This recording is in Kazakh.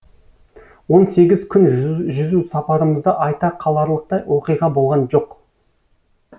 он сегіз күн жүзу сапарымызда айта қаларлықтай оқиға болған жоқ